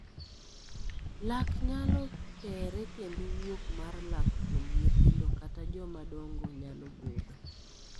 Lak nyalo kere kendo wuok mar lak kuom nyithindo kata joma dong'o nyalo budho.